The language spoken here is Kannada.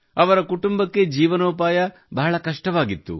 ಅವರ ಕುಟುಂಬಕ್ಕೆ ಜೀವನೋಪಾಯ ಬಹಳ ಕಷ್ಟವಾಗಿತ್ತು